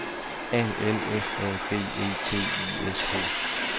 A L F A B E T I S K